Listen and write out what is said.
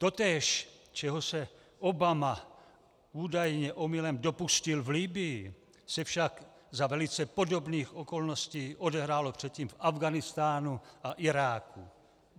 Totéž, čeho se Obama údajně omylem dopustil v Libyi, se však za velice podobných okolností odehrálo předtím v Afghánistánu a Iráku.